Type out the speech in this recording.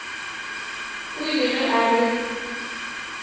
o ile ge a re